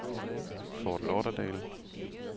Fort Lauderdale